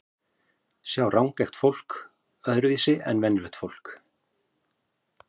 Sjá rangeygt fólk öðruvísi en venjulegt fólk?